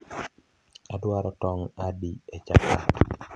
adwaro tong adi e chapat